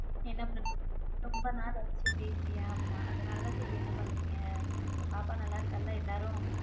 என்ன பண்றிங்க என்ன ரொம்ப நாள் ஆச்சு பேசி ஆமா அதனால தான் என்ன பண்றீங்க அப்பிடி சொல்லிடு பாப்பா நல்லா இருக்காளா எல்லாரும்.